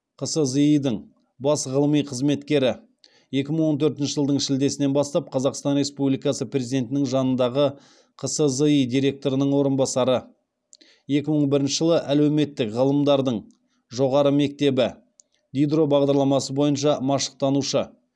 қсзи дың бас ғылыми қызметкері екі мың он төртінші жылдың шілдесінен бастап қазақстан республикасы президентінің жанындағы қсзи директорының орынбасары екі мың бірінші жылы әлеуметтік ғылымдардың жоғарғы мектебі дидро бағдарламасы бойынша машықтанушы